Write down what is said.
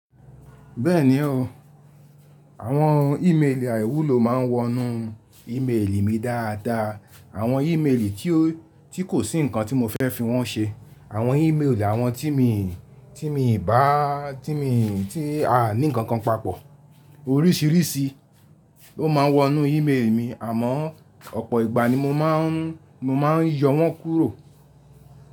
Bẹ́ẹ̀ni o, àwọn ímeèlì àìwúlò ma ń wọnú ímeèlì mi dáadáa. Àwọn ímeèlì tí kò sí nǹkan tí mo fẹ́ fi wọ́n ṣe, àwọn ímeèlì àwọn tí a ní nǹkan papọ̀. Orísìírísìí ló ma ń wọnú ímeèlì mi àmọ́ ọ̀pọ̀ ìgbà ni mo ma ń yọ wọ́n kúrò.